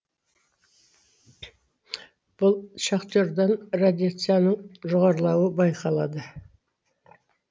бұл шахтердан радияцияның жоғарылауы байқалады